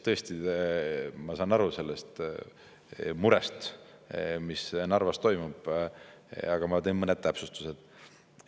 Tõesti, ma saan aru sellest murest, mis on seoses Narvas toimuvaga, aga ma teen mõned täpsustused.